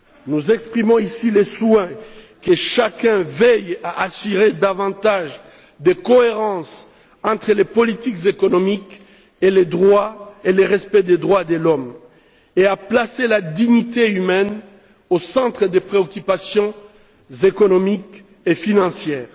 Nous exprimons ici le souhait que chacun veille à assurer davantage de cohérence entre les politiques économiques et le respect des droits de l'homme, et à placer la dignité humaine au centre des préoccupations économiques et financières.